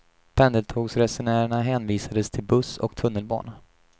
Pendeltågsresenärerna hänvisades till buss och tunnelbana.